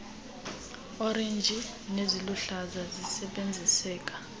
orenji neziluhlaza zisebenziseka